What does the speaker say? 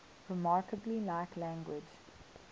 remarkably like language